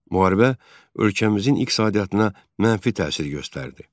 Müharibə ölkəmizin iqtisadiyyatına mənfi təsir göstərdi.